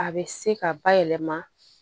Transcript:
A bɛ se ka bayɛlɛma